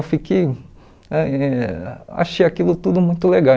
Eu fiquei... ãh achei aquilo tudo muito legal.